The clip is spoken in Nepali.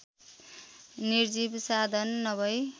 निर्जीव साधन नभई